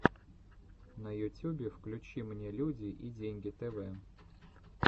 на ютюбе включи мне люди и деньги тэвэ